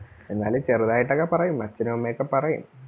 എന്നാലും ചെറുതായിട്ടൊക്കെ പറയും അച്ഛനും അമ്മയൊക്കെ പറയും